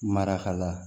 Marakala